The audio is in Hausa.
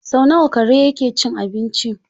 Sau nawa kare yake cin abinci?